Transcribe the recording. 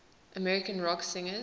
american rock singers